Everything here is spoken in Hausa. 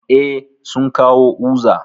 Eh, sun kawo uza